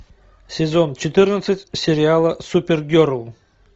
сезон четырнадцать сериала супер герл